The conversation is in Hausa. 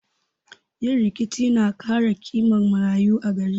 Yin rikici na kara kiman marayu a gari